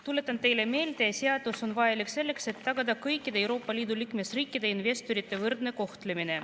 Tuletan teile meelde, et seadus on vajalik selleks, et tagada kõikide Euroopa Liidu liikmesriikide investorite võrdne kohtlemine.